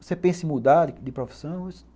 Você pensa em mudar de de profissão? Eu disse